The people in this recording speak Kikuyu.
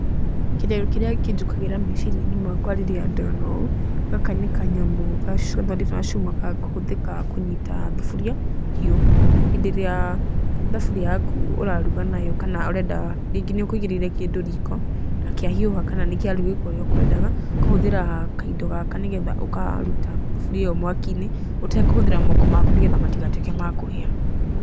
Kĩrĩa kĩnjũkagĩra meciria-inĩ makwa rĩrĩa ndona ũũ, gaka nĩ kanyamu gacongetwo gacuma ga kũhũthĩka kũnyita thuburia hiũ. Hĩndĩ ĩrĩa thaburia yaku ũraruga nayo, kana ũrenda, rĩngĩ nĩ ũkũigĩrĩire kĩndũ riko na kĩhiũha kana nĩ kĩarugĩka ũrĩa ũkwendaga ,ũkahũthĩra kaindo gaka nĩ getha ũkaruta thuburia ĩyo mwaki-inĩ ũtekũhũthĩra moko maku nĩ getha matigatuĩke ma kũhĩa